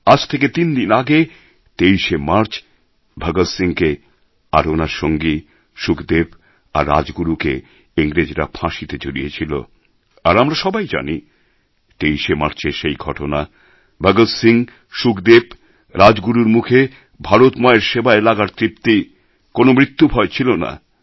আজ থেকে তিন দিন আগে ২৩শে মার্চ ভগৎ সিংকে আর ওনার সঙ্গী সুখদেব আর রাজগুরুকে ইংরেজরা ফাঁসিতে ঝুলিয়েছিল আর আমরা সবাই জানি ২৩শে মার্চের সেই ঘটনা ভগৎ সিং সুখদেব রাজগুরুর মুখে ভারত মায়ের সেবায় লাগার তৃপ্তি কোনো মৃত্যুভয় ছিল না